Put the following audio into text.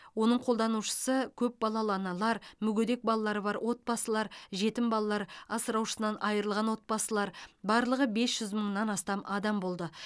оның қолданушысы көп балалы аналар мүгедек балалары бар отбасылар жетім балалар асыраушысынан айырылған отбасылар барлығы бес жүз мыңнан астам адам болды